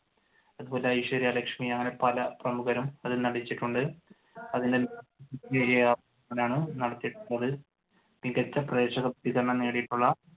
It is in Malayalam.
അതുപോലെ ഐശ്വര്യ ലക്ഷ്മി അങ്ങനെ പല പ്രമുഖരും അതിൽ നടിച്ചിട്ടുണ്ട്. മികച്ച പ്രേക്ഷക സ്വീകരണം നേടിയിട്ടുള്ള